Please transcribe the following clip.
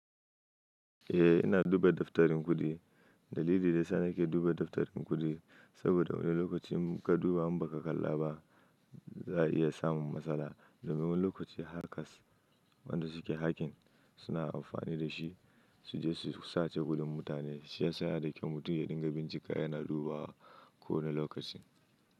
Eh ina duba daftarin kuɗi. Dalili da yasana ke duba daftar din kuɗi saboda wani lokaci in ka duba im ba ka kalla ba, za a iya samun matsala. Domin wani lokaci hackers wanda suke hacking suna amfani da shi su je su sace kuɗin mutane. Shi ya sa ya da kyau mutum ya dinga bincika yana dubawa ko wane lokaci.